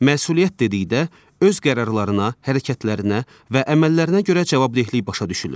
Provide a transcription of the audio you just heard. Məsuliyyət dedikdə öz qərarlarına, hərəkətlərinə və əməllərinə görə cavabdehlik başa düşülür.